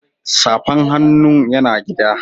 Safan hannun ya na gida.